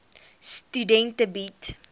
studente bied